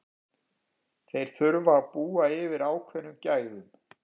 Þeir þurfa að búa yfir ákveðnum gæðum.